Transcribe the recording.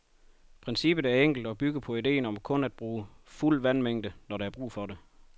Princippet er enkelt og bygger på idéen om kun at bruge fuld vandmængde, når der er brug for det.